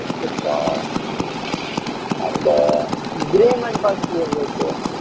நடிச்சிருக்கா அந்த grey man பாத்துட்டியா விவேக்